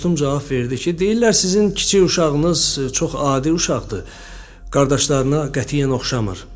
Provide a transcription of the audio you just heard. Dostum cavab verdi ki, deyirlər sizin kiçik uşağınız çox adi uşaqdır, qardaşlarına qətiyyən oxşamır.